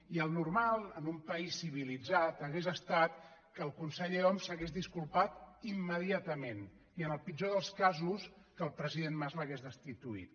i el normal en un país civilitzat hauria estat que el conseller homs s’hagués disculpat immediatament i en el pitjor dels casos que el president mas l’hagués destituït